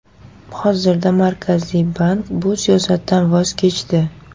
Hozirda Markaziy bank bu siyosatdan voz kechdi.